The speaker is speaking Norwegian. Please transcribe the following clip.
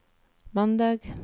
mandag